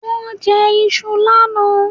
Wón jẹ iṣu lánàá